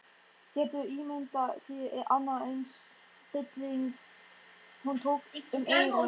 Geturðu ímyndað þér annan eins hrylling. Hún tók um eyrun.